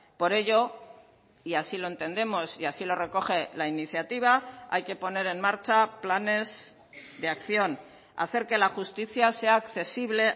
por ello y así lo entendemos y así lo recoge la iniciativa hay que poner en marcha planes de acción hacer que la justicia sea accesible